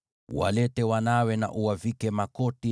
Walete wanawe na uwavike makoti,